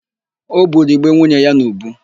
O buru ìgbé nwunye ya n'ùbú.